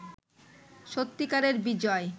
সত্যিকারের বিজয়